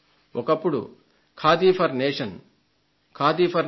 ఒకప్పటి khadi for nation దేశం కోసం ఖాదీ